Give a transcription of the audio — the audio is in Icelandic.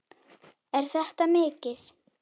Er þetta mikið?